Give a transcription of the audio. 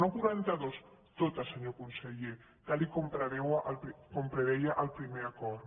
no quaranta·dues totes senyor conseller tal com preveia el primer acord